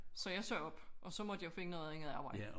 Så jeg sagde op og så måtte jeg jo finde noget andet arbejde